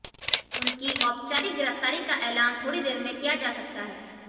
उनकी औपचारिक गिरफ्तारी का ऐलान थोड़ी देर में किया जा सकता है